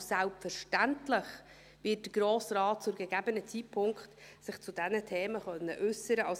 – Und selbstverständlich wird sich der Grosse Rat zu gegebenem Zeitpunkt zu diesen Themen äussern können.